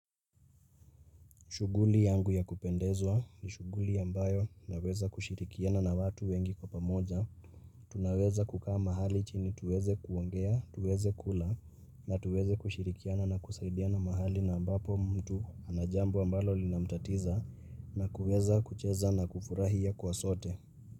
Shughuli yangu ya kupendezwa ni shughuli yambayo naweza kushirikiana na watu wengi kwa pamoja. Tunaweza kukaa mahali chini tuweze kuongea, tuweze kula na tuweze kushirikiana na kusaidia na mahali na ambapo mtu anajambo ambalo linamtatiza na kuweza kucheza na kufurahia kwa sote.